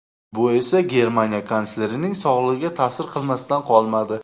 Bu esa Germaniya kanslerining sog‘lig‘iga ta’sir qilmasdan qolmadi.